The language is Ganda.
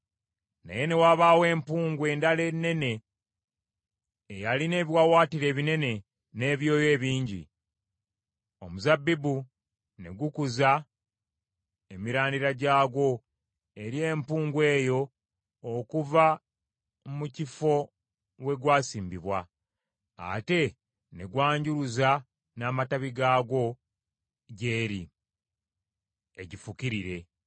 “ ‘Naye ne wabaawo empungu endala ennene eyalina ebiwaawaatiro ebinene, n’ebyoya ebingi. Omuzabbibu ne gukuza emirandira gyagwo eri empungu eyo okuva mu kifo we gwasimbibwa, ate ne gwanjuluza n’amatabi gaagwo gy’eri egifukirire.